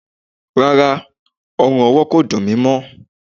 Rárá, ọrùn ọwọ kò dùn mi mó.